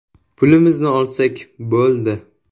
Pulimizni olsak bo‘ldi.